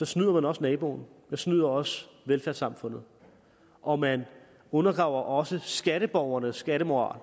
snyder man også naboen man snyder også velfærdssamfundet og man undergraver også skatteborgernes skattemoral